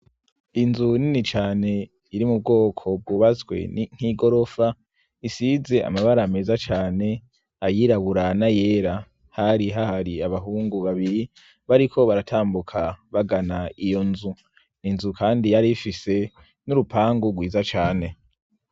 Inzu nini cane iri mu bwoko bwubazwe nk'igorofa isize amabara ameza cane ayiraburana yera hari hahri abahungu babiri bariko baratambuka bagana iyo nzu ninzu, kandi yari ifise n'urupangu rwiza cane.